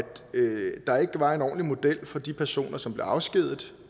der ikke var en ordentlig model for de personer som blev afskediget